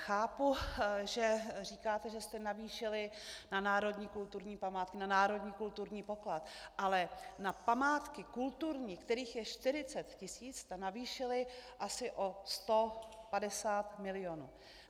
Chápu, že říkáte, že jste navýšili na národní kulturní památky, na národní kulturní poklad, ale na památky kulturní, kterých je 40 tisíc, jste navýšili asi o 150 mil.